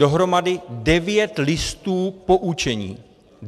Dohromady devět listů poučení.